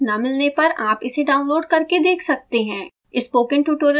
अच्छी bandwidth न मिलने पर आप इसे download करके देख सकते हैं